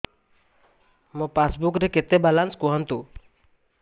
ମୋ ପାସବୁକ୍ ରେ କେତେ ବାଲାନ୍ସ କୁହନ୍ତୁ